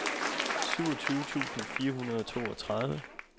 syvogtyve tusind fire hundrede og toogtredive